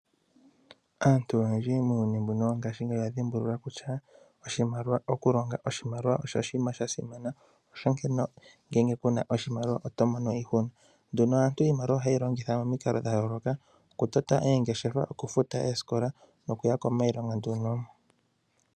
Aantu oyendji muuyuni wongashingeyi, oya dhimbulula kutya oshimaliwa oshasimana. Omuntu ngele kuna oshimaliwa otomono iihuna. Iimaliwa ohayi longithwa momikalo dhayooloka okutota oongeshefa, okufuta oosikola noshowo olefa yokuya kiilonga.